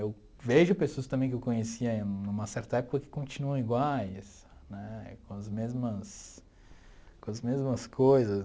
Eu vejo pessoas também que eu conhecia em uma certa época que continuam iguais né, com as mesmas com as mesmas coisas.